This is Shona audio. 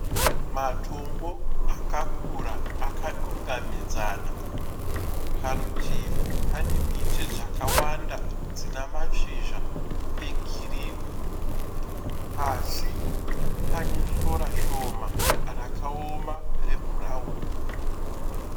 Matombo akakura akudangamidzana. parutivi pane miti dzakawanda dzina mashizha egirini pasi pane sora shoma rakaoma rebhurauni.